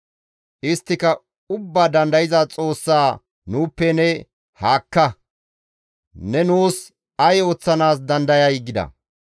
Isttika Ubbaa Dandayza Xoossa, ‹Nuuppe ne haakka; ne nuus ay ooththanaas dandayay?› gida.